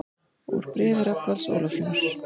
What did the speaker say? Úr bréfi Rögnvalds Ólafssonar